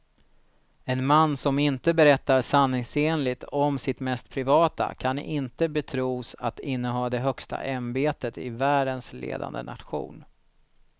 En man som inte berättar sanningsenligt om sitt mest privata kan inte betros att inneha det högsta ämbetet i världens ledande nation.